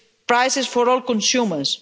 prices for all consumers.